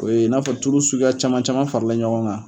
O ye n'a fɔ tulu suguya caman caman farala ɲɔgɔn kan